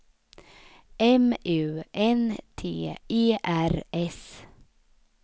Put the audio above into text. M U N T E R S